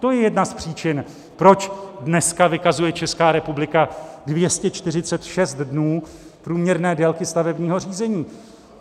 To je jedna z příčin, proč dneska vykazuje Česká republika 246 dnů průměrné délky stavebního řízení.